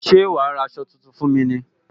Ṣé wá ra aṣọ tuntun fún mi ní